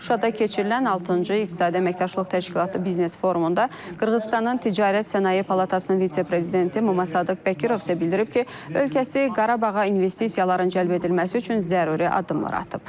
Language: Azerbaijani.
Şuşada keçirilən altıncı iqtisadi əməkdaşlıq təşkilatı biznes forumunda Qırğızıstanın ticarət sənaye palatasının vitse-prezidenti Muma Sadıq Bəkirov isə bildirib ki, ölkəsi Qarabağa investisiyaların cəlb edilməsi üçün zəruri addımlar atıb.